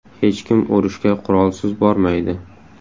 Hech kim urushga qurolsiz bormaydi.